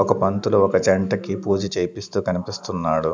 ఒక పంతులు ఒక జంటకి పూజ చేపిస్తూ కనిపిస్తున్నాడు.